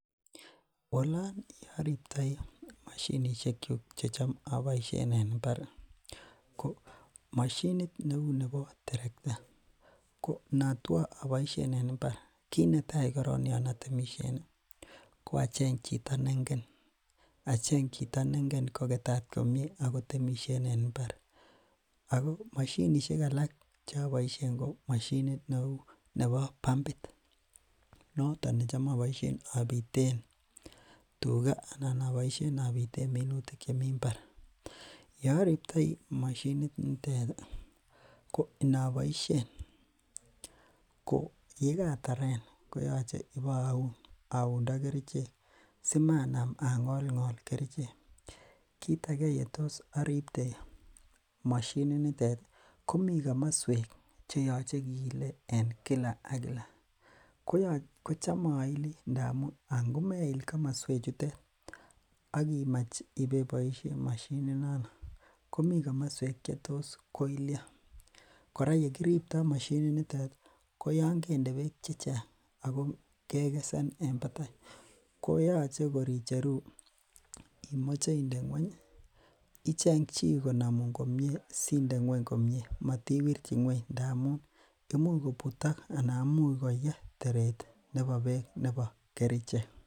Oleen oloribtoi moshinishekyuk chetam oboishen en imbar ko neuu nebo terekta, ko notwo oboishen en imbar kiit netai korong yoon otemishen ko acheng chito nengen koketat komnye ak kotemishen en imbar, ak ko moshinishek alak choboishen ko cheu nebo pampit noton necham oboishen obiten tukaa anan necham oboishen obiten minutik chemi mbar, yoribtoi mashit nitet ko inoboishen ko yekataren ko yoche iboun aundo kerichek simanam angol ngol kerichek, kiit akee yetos oribte moshininitet komii komoswek cheyoche kiile en kila ak kila, kocham oili ndamun angomeil komoswe chutet ak kimach ibeboishen mashini nonoo komii komoswek chetos koilio kora yoon kende beek chechang ak ko kekesen en batai ko yoche kor icheru imoche inde ngweny icheng chii konomun komnye sinde ngweny komie motiwirchi ngweny ndamun imuch kobutok anan imuch kobutok teret nebo beek nebo kerichek.